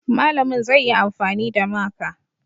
Malamin zai yi amfani da maka